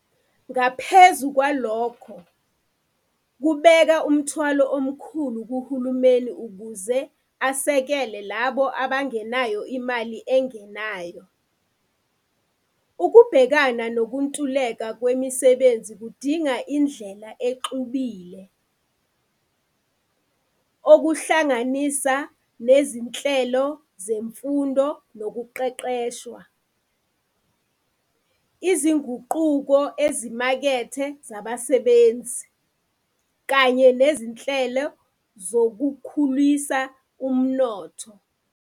Ngaphezu kwalokho, kubeka umthwalo omkhulu kuhulumeni ukuze usekele labo abangenayo imali enganayo. Ukubhekana mokuntuleka kwemisebnzi kudinga indlela exubile, okuhlanganisa nezinhlelo zemfundo nokuqeqeshwa, izinguquko ezimaketha ezabasebenz, kanye nezinhlelo zokukhulisa umnotho.